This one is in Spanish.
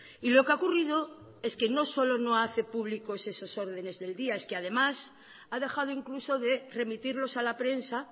y lo que ha ocurrido es que no solo no hace público esas órdenes del día es que además ha dejado incluso de remitirlos a la prensa